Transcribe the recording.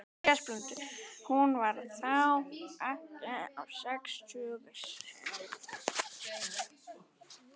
Hún var þá ekkja á sextugsaldri.